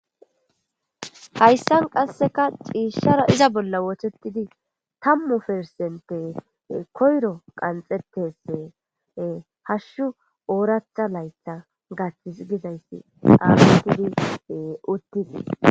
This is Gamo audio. hayssan qasseka ciishara iza bolla woothetidi tammu persenppe koyro qanxxetes hashshu ooratha laytha gathis gidayssi aagetidi uttitii